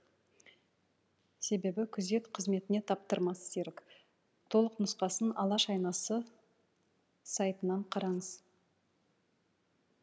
себебі күзет қызметіне таптырмас серік толық нұсқасын алаш айнасы сайтынан қараңыз